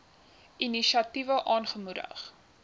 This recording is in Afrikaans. inisiatiewe aangemoedig